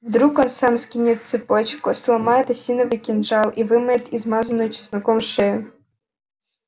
вдруг он сам скинет цепочку сломает осиновый кинжал и вымоет измазанную чесноком шею